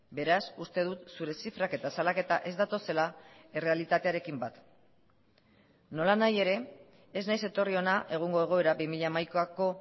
beraz uste dut zure zifrak eta salaketa ez datozela errealitatearekin bat nolanahi ere ez naiz etorri hona egungo egoera bi mila hamaikako